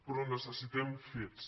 però necessitem fets